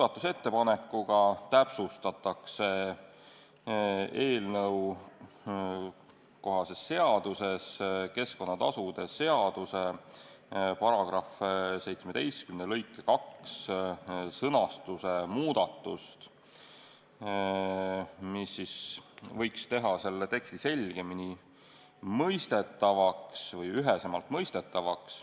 Sellega täpsustatakse eelnõukohases seaduses keskkonnatasude seaduse § 17 lõike 2 sõnastuse muudatust, mis võiks teha selle teksti selgemini mõistetavaks või üheselt mõistetavaks.